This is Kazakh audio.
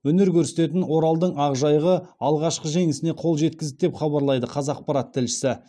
өнер көрсететін оралдың ақжайығы алғашқы жеңісіне қол жеткізді деп хабарлайды қазақпарат тілшісі